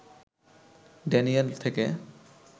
Daniel থেকে